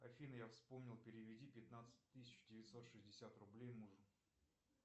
афина я вспомнил переведи пятнадцать тысяч девятьсот шестьдесят рублей мужу